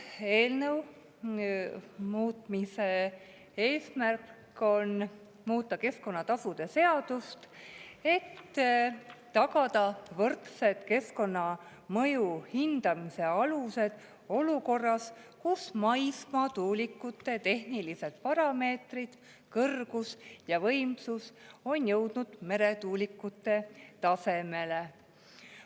Eelnõu eesmärk on muuta keskkonnatasude seadust, et tagada võrdsed keskkonnamõju hindamise alused olukorras, kus maismaatuulikute tehnilised parameetrid, kõrgus ja võimsus, on jõudnud meretuulikute tasemele.